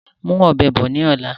Mú ọ̀bẹ bọ̀ ni ọ̀la!